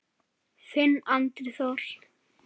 Þinn Andri Þór.